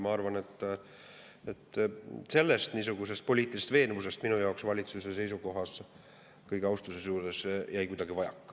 Ma arvan, et niisugust poliitilist veenvust jäi minu jaoks valitsuse seisukohas – ütlen seda kogu austuse juures – kuidagi vajaka.